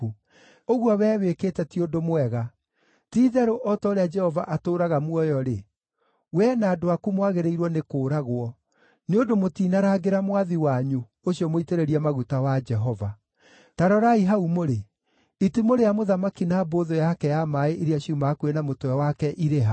Ũguo wee wĩkĩte ti ũndũ mwega. Ti-itherũ o ta ũrĩa Jehova atũũraga muoyo-rĩ, wee na andũ aku mwagĩrĩirwo nĩ kũũragwo, nĩ ũndũ mũtiinarangĩra mwathi wanyu, ũcio mũitĩrĩrie maguta wa Jehova. Ta rorai hau mũrĩ. Itimũ rĩa mũthamaki na mbũthũ yake ya maaĩ iria ciuma hakuhĩ na mũtwe wake irĩ ha?”